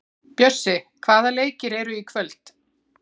Bjössi, hvaða leikir eru í kvöld?